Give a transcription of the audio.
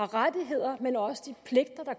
rettigheder men også de pligter der